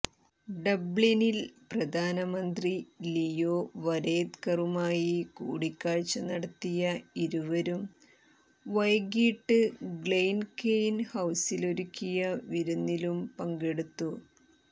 ഡബ്ലിനിൽ പ്രധാനമന്ത്രി ലിയോ വരേദ്കറുമായി കൂടിക്കാഴ്ച നടത്തിയ ഇരുവരും വൈകിട്ട് ഗ്ലെൻകെയ്ൻ ഹൌസിലൊരുക്കിയ വിരുന്നിലും പങ്കെടുത്തു